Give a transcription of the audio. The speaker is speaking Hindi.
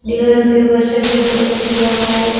दीवारों के ऊपर सफेद कलर किया हुआ है।